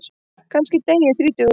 Kannski dey ég þrítugur.